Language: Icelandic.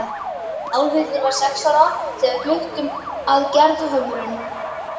Álfhildur var sex ára þegar við fluttum að Gerðhömrum.